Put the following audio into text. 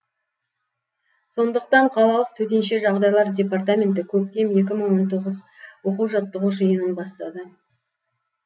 сондықтан қалалық төтенше жағдайлар департаменті көктем екі мың он тоғыз оқу жаттығу жиынын бастады